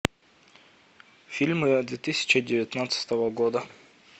фильмы две тысячи девятнадцатого года